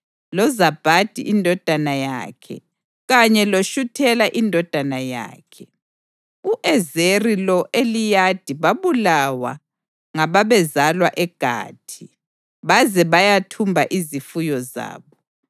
loZabhadi indodana yakhe kanye loShuthela indodana yakhe. (U-Ezeri lo-Eliyadi babulawa ngababezalwa eGathi, baze bayethumba izifuyo zabo.